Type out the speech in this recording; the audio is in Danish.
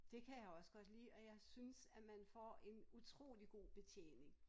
Det kan jeg også godt lide og jeg synes at man får en utrolig god betjening